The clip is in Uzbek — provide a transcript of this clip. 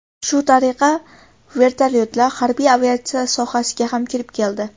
Shu tariqa, vertolyotlar harbiy aviatsiya sohasiga ham kirib keldi.